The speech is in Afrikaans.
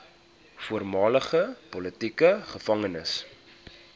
voormalige politieke gevangenes